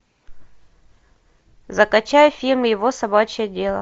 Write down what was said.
закачай фильм его собачье дело